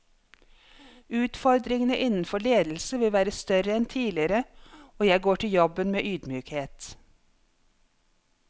Utfordringene innenfor ledelse vil være større enn tidligere, og jeg går til jobben med ydmykhet.